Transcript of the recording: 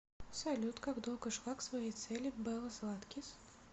салют как долго шла к своей цели белла златкис